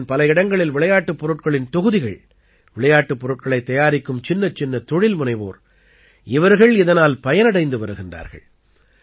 தேசத்தின் பல இடங்களில் விளையாட்டுப் பொருட்களின் தொகுதிகள் விளையாட்டுப் பொருட்களைத் தயாரிக்கும் சின்னச்சின்ன தொழில்முனைவோர் இவர்கள் இதனால் பயனடைந்து வருகிறார்கள்